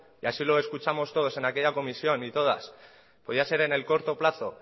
y así lo escuchamos todos en aquella comisión y todas podía ser en el corto plazo